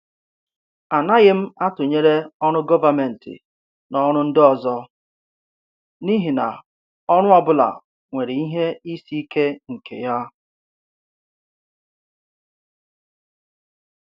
A naghị m atụnyere ọrụ gọvanmentị na ọrụ ndị ọzọ n’ihi na ọrụ ọ bụla nwere ihe isi ike nke ya.